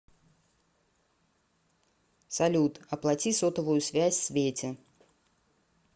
салют оплати сотовую связь свете